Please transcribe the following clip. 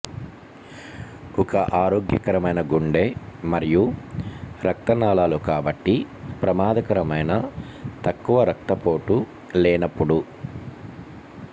ఒక ఆరోగ్యకరమైన గుండె మరియు రక్త నాళాలు కాబట్టి ప్రమాదకరమైన తక్కువ రక్తపోటు లేనప్పుడు